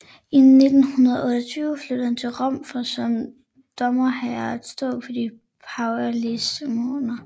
I 1928 flyttede han til Rom for som domherre at stå for de pavelige ceremonier